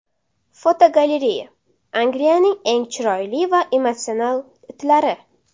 Fotogalereya: Angliyaning eng chiroyli va emotsional itlari.